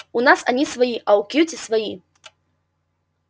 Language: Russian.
у нас они свои а у кьюти свои